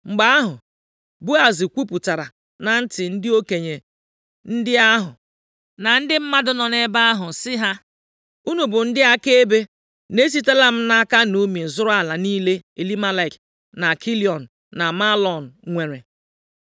Mgbe ahụ, Boaz kwupụtara na ntị ndị okenye ndị ahụ na ndị mmadụ nọ nʼebe ahụ sị ha, “Unu bụ ndị akaebe na esitela m nʼaka Naomi zụrụ ala niile Elimelek, na Kilịọn na Mahlọn nwere.